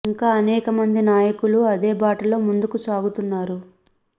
ఇంకా అనేక మంది నాయకులు అదే బాటలో ముందుకు సాగుతున్నారు